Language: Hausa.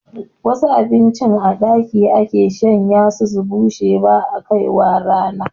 Wasu abinci a ɗaki ake shanyawa su bushe ba'a kai rana